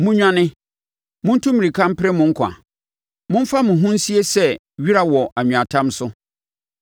Monnwane! Montu mmirika mpere mo nkwa. Momfa mo ho nsie sɛ wira wɔ anweatam so.